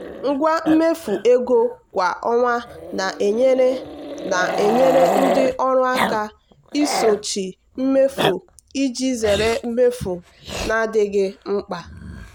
ngwa mmefu ego kwa ọnwa na-enyere na-enyere ndị ọrụ aka isochi mmefu iji zere mmefu na-adịghị mkpa.